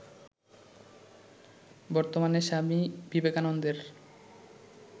বর্তমানে স্বামী বিবেকানন্দের